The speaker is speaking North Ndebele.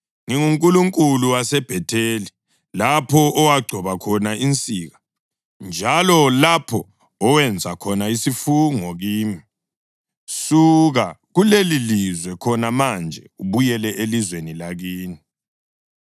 NginguNkulunkulu waseBhetheli, lapho owagcoba khona insika njalo lapho owenza khona isifungo kimi. Suka kulelilizwe khona manje ubuyele elizweni lakini.’ ”